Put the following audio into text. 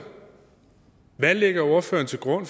hvad lægger ordføreren til grund